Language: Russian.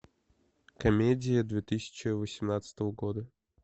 комедии две тысячи восемнадцатого года